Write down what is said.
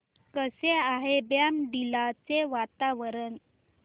कसे आहे बॉमडिला चे वातावरण